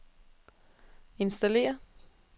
installere